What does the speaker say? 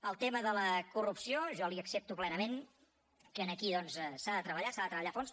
en el tema de la corrupció jo li accepto plenament que aquí doncs s’ha de treballar s’ha de treballar a fons